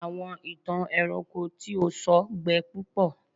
àwọn ìtàn ẹranko tí o sọ gbẹ púpọ